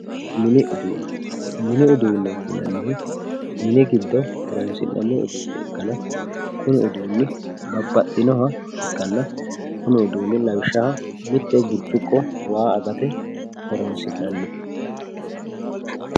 mini uduunne mini uduunneeti yinannihu mini giddo horonsi'nayiiha ikkanna kuni uduunni babbaxxinoha ikkanna lawishshaho mitte birciqqo waa agate horonsi'nannite